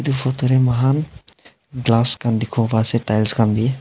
photo tae mohan glass khan dikhiwo paase tiles khan bi.